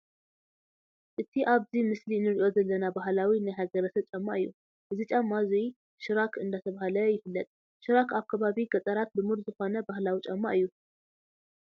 እቲ ኣብዚ ምስሊ እንርእዮ ዘለና ባህላዊ ናይ ሃገረሰብ ጫማ እዩ። እዚ ጫማ እዙይ ሽራክ እንዳተባሃለ ይፍለጥ። ሽራክ ኣብ ከባቢ ገጣራት ልሙድ ዝኮነ ባህላዊ ጫማ እዩ።